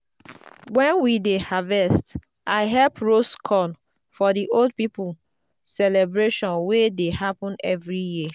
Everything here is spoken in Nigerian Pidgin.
when we dey harvest i help roast corn for the old people celebration wey dey happen every year.